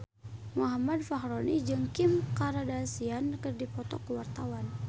Muhammad Fachroni jeung Kim Kardashian keur dipoto ku wartawan